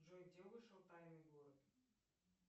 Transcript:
джой где вышел тайный город